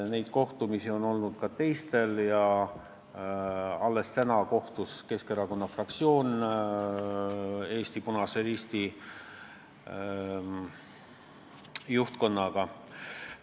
Neid kohtumisi on olnud ka teistel, tänagi kohtus Keskerakonna fraktsioon Eesti Punase Risti juhtkonnaga.